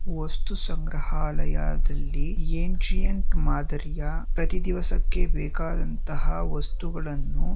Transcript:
ವಸ್ತು ಸಂಗ್ರಹಾಲಯದಲ್ಲಿ ಅಂಸೈಟ್ ಮಾದರಿಯ ಪ್ರತಿದಿವಸಕ್ಕೆ ಬೇಕಾದಂತಹ ವಸ್ತುಗಳನ್ನು_